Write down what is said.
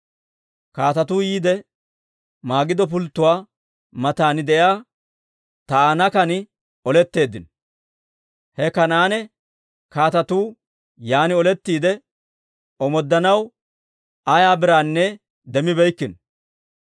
Kaatetuu yiide, Magido pulttotuwaa matan de'iyaa Taa'inaakan oletteeddino. He Kanaane kaatetuu yaan olettiide, omooddanaw ayaa biraanne demmibeeykkino.